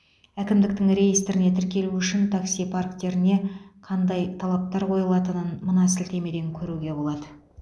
әкімдіктің реестріне тіркелу үшін такси парктеріне қандай талаптар қойылатынын мына сілтемеден көруге болады